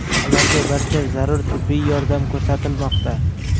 Ularga barcha zarur tibbiy yordam ko‘rsatilmoqda.